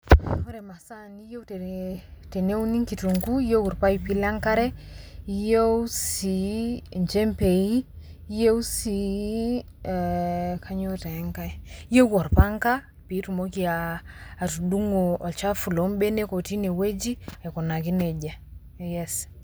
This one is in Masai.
Ore masaa niyeu tee teneuni kitung'uu, iyeu irpaipi le nkare, iyeu sii injembei, iyeu sii ee kanyoo tee nkai, iyeu orpang'a piitumoki aa atudung'o olchafu loo mbenek otii ine wueji aikunaki neja yes.